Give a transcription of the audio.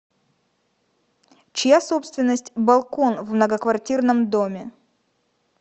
чья собственность балкон в многоквартирном доме